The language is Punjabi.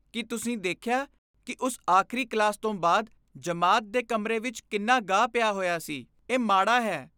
ਕੀ ਤੁਸੀਂ ਦੇਖਿਆ ਕਿ ਉਸ ਆਖ਼ਰੀ ਕਲਾਸ ਤੋਂ ਬਾਅਦ ਜਮਾਤ ਦੇ ਕਮਰੇ ਵਿੱਚ ਕਿੰਨਾ ਗਾਹ ਪਿਆ ਹੋਇਆ ਸੀ? ਇਹ ਮਾੜਾ ਹੈ।